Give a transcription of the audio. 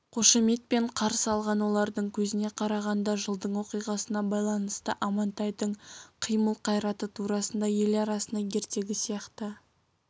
қошеметпен қарсы алған олардың көзіне қарағанда жылдың оқиғасына байланысты амантайдың қимыл-қайраты турасында ел арасына ертегі сияқты